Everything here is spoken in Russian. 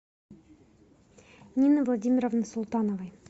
нины владимировны султановой